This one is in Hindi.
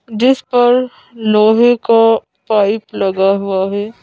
जिस पर लोहे का पाइप लगा हुआ है।